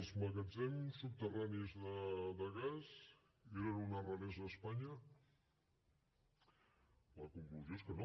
els magatzems subterranis de gas eren una raresa a espanya la conclusió és que no